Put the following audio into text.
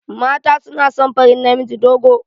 Mata suna son farin namiji dogo.